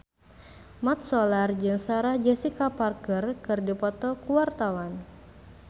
Mat Solar jeung Sarah Jessica Parker keur dipoto ku wartawan